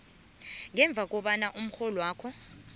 ngemva kobana umrholwakho